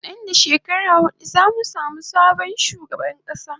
Nan da shekara hudu zamu samu sabon shugaban kasa